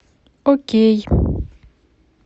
окей